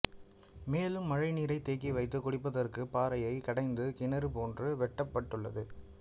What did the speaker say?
மேலும் மழை நீரை தேக்கி வைத்து குடிப்பதற்கு பாறையை குடைந்து கிணறு போன்று வெட்டப்பட்டுள்ளது